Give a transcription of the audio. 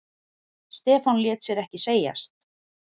Stefán lét sér ekki segjast.